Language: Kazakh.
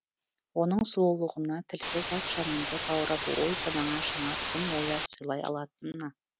оның сұлулығына тілсіз ақ жаныңды баурап ой санаңа жаңа тың ойлар сыйлай алатынына